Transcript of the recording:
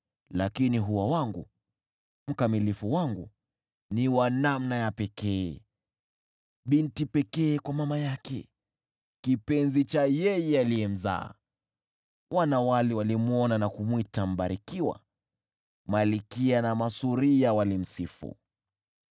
lakini hua wangu, mkamilifu wangu, ni wa namna ya pekee, binti pekee kwa mama yake, kipenzi cha yeye aliyemzaa. Wanawali walimwona na kumwita aliyebarikiwa; malkia na masuria walimsifu.